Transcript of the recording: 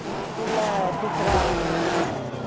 அங்க school ல teacher ஆ work பண்ணிட்டு இருக்காங்க